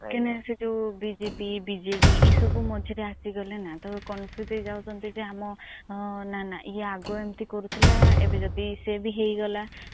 କାହିଁ କି ନା ଅ ଯୋଉ BJD BJP ମଝିରେ ଆସିଗଲେ ନା ତ confuse ହେଇ ଯାଉଛନ୍ତି ଯେ ଆମ ନା ନା ଇଏ ଆଗ ଏମିତି କରୁଥିଲା ଏବେ ଯଦି ସିଏ ବି ହେଇ ଗଲା ତ